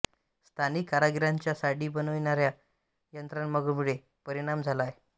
स्थानिक कारागिरांच्या साडी बनविण्यावर यंत्रमागामुळे परिणाम झाला आहे